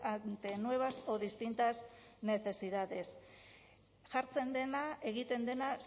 ante nuevas o distintas necesidades jartzen dena egiten dena